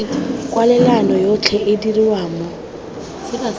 kwalelano yotlhe e dirwa mo